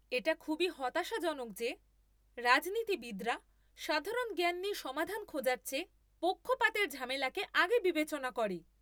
এটা খুবই হতাশাজনক যে রাজনীতিবিদরা সাধারণ জ্ঞান নিয়ে সমাধান খোঁজার চেয়ে পক্ষপাতের ঝামেলাকে আগে বিবেচনা করে।